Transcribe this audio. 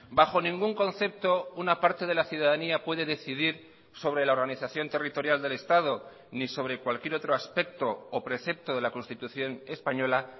bajo ningún concepto una parte de la ciudadanía puede decidir sobre la organización territorial del estado ni sobre cualquier otro aspecto o precepto de la constitución española